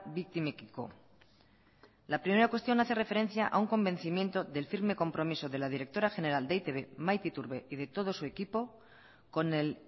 biktimekiko la primera cuestión hace referencia a un convencimiento del firme compromiso de la directora general de e i te be maite iturbe y de todo su equipo con el